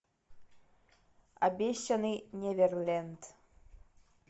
обещанный неверленд